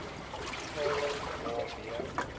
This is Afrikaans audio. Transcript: toenaderings was b